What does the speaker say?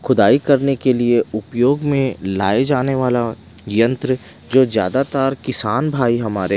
खुदाई करने के लिए उपयोग में लाए जाने वाला यंत्र जो ज्यादातर किसान भाई हमारे--